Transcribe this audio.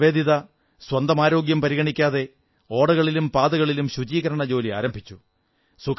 sister Nivedita സ്വന്തം ആരോഗ്യം പരിഗണിക്കാതെ ഓടകളിലും പാതകളിലും ശുചീകരണ ജോലി ആരംഭിച്ചു